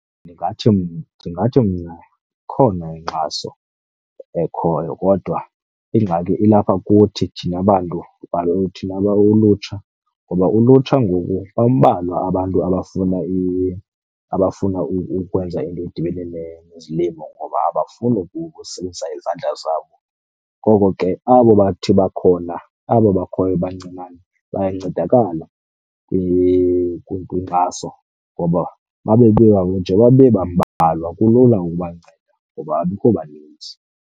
Ndingathi , ndingathi mna ikhona inkxaso ekhoyo kodwa ingxaki ilapha kuthi thina bantu , thina ulutsha. Ngoba ulutsha ngoku bambalwa abantu abafuna , abafuna ukwenza into edibene nezilimo ngoba abafuni ukusebenzisa izandla zabo. Ngoko ke abo bathi bakhona, abo bakhoyo bancinane bayancedakala kwinkxaso ngoba nje bebambalwa kulula ukubanceda ngoba abekho baninzi.